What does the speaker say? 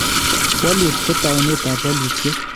Walut ko taunet ap walutyet